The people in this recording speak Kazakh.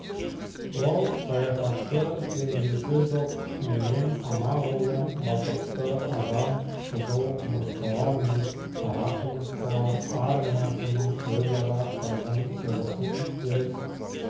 ол саяхатшы теңдесі жоқ менен анағұрлым бақытты адам қызыл құмырсқалар мен қара құмырсқалар армиясының өзара қырғын соғысын өз